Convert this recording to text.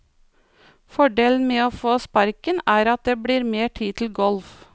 Fordelen med å få sparken er at det blir mer tid til golf.